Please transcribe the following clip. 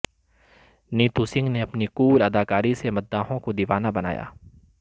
نیتو سنگھ نے اپنی کول اداکاری سے مداحوں کو دیوانہ بنایا